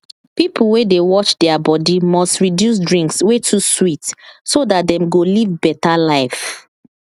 people wey dey watch their body must reduce drinks wey too sweet so dat dem go live better life